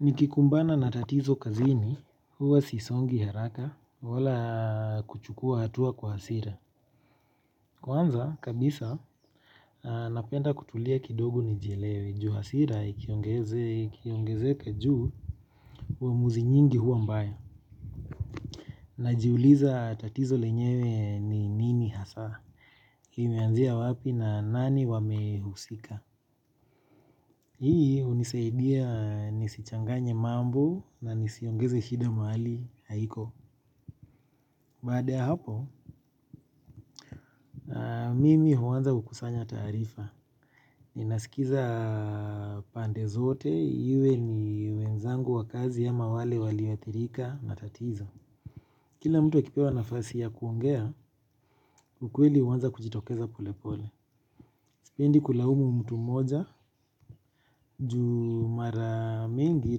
Nikikumbana na tatizo kazini, huwa sisongi haraka wala kuchukua hatua kwa hasira. Kwanza kabisa napenda kutulia kidogo nijielewe juu hasira ikiongeze ka juu uamuzi nyingi huwa mbaya. Najiuliza tatizo lenyewe ni nini hasa, imeanzia wapi na nani wamehusika. Hii unisaidia nisichanganye mambo na nisiongeze shida mahali haiko. Baada ya hapo, mimi huanza kukusanya taarifa. Ninaskiza pande zote, iwe ni wenzangu wa kazi ama wale walioadhirika na tatizo. Kila mtu akipewa na fasi ya kuongea, ukweli huanza kujitokeza pole pole. Sipendi kulaumu mtu mmoja, ju mara mingi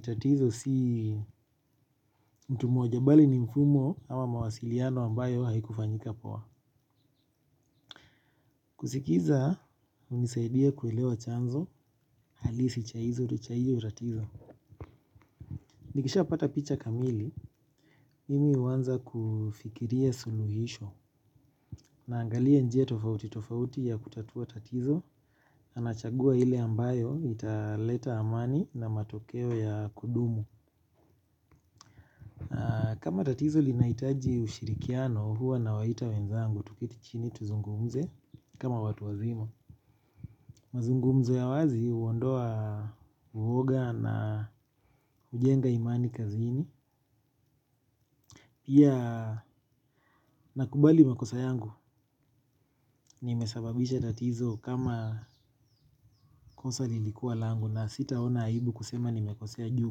tatizo si mtu mmoja, bali ni mfumo ama mawasiliano ambayo haikufanyika poa. Kusikiza, unisaidia kuelewa chanzo halisi chaizo, cha hio tatizo. Nikisha pata picha kamili, mimi uanza kufikiria suluhisho. Naangalia njia tofauti tofauti ya kutatua tatizo nachagua ile ambayo italeta amani na matokeo ya kudumu. Kama tatizo linaitaji ushirikiano huwa nawaita wenzangu tuketi chini tuzungumze kama watu wazima. Mazungumzo ya wazi uondoa uwoga na ujenga imani kazini. Pia nakubali makosa yangu. Nimesababisha tatizo kama kosa lilikuwa langu. Na sita ona aibu kusema nimekosea ju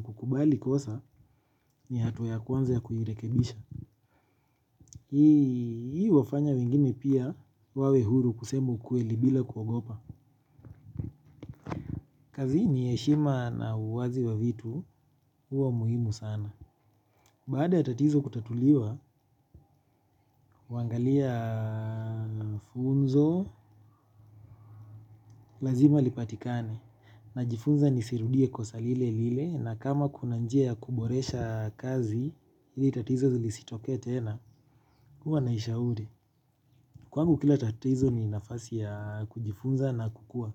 kukubali kosa ni hatua ya kwanza ya kuirekebisha. Hii uwafanya wengine pia wawe huru kusema ukweli bila kuogopa. Kazini heshima na uwazi wa vitu huwa muhimu sana. Baada ya tatizo kutatuliwa, uangalia funzo, lazima lipatikane. Najifunza nisirudie kosa lile lile na kama kuna njia ya kuboresha kazi, ili tatizo lisitokee tena, huwa naishauri. Kwangu kila tatizo ni nafasi ya kujifunza na kukua.